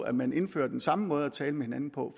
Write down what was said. at man indfører den samme måde at tale med hinanden på